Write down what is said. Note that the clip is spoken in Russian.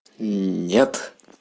ии нет